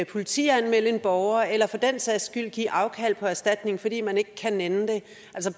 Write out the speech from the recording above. politianmelde en borger eller for den sags skyld give afkald på erstatning fordi man ikke kan nænne det